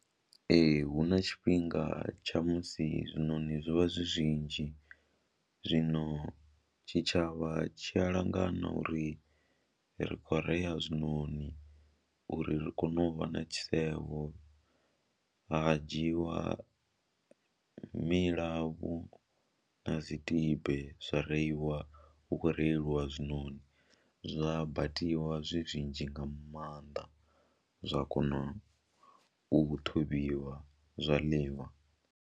Ee, hu na tshifhinga tsha musi zwinoni zwo vha zwi zwinzhi, zwino tshitshavha tshi a langana uri ri khou rea zwinoni uri ri kone u vha na tshisevho, ha dzhiwa milavhu na dzi tibe zwa reiwa hu khou reiwa zwinoni, zwa batiwa zwi zwinzhi nga maanḓa zwa kona u ṱhavhiwa zwa ḽiwa.